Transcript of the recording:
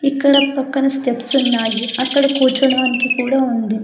ఇక్కడ పక్కన స్టెప్స్ ఉన్నాయి అక్కడ కూర్చోడానికి కూడా ఉంది.